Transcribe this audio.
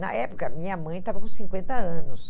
Na época, minha mãe estava com cinquenta anos.